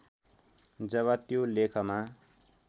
जब त्यो लेखमा